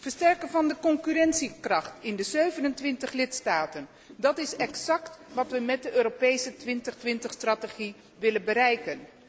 Versterken van de concurrentiekracht in de 27 lidstaten, dat is exact wat we met de Europese 2020 strategie willen bereiken.